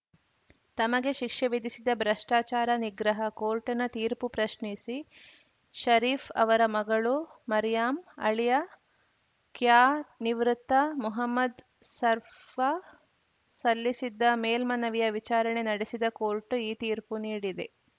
ತಮಗೆ ಶಿಕ್ಷೆ ವಿಧಿಸಿದ್ದ ಭ್ರಷ್ಟಾಚಾರ ನಿಗ್ರಹ ಕೋರ್ಟ್‌ನ ತೀರ್ಪು ಪ್ರಶ್ನಿಸಿ ಷರೀಫ್‌ ಅವರ ಮಗಳು ಮರ್ಯಾಂ ಅಳಿಯ ಕ್ಯಾನಿವೃತ್ತ ಮೊಹಮ್ಮದ್‌ ಸರ್‌ಫಾ ಸಲ್ಲಿಸಿದ್ದ ಮೇಲ್ಮನವಿಯ ವಿಚಾರಣೆ ನಡೆಸಿದ ಕೋರ್ಟ್ ಈ ತೀರ್ಪು ನೀಡಿದೆ